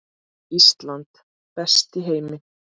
Ísland, best í heimi.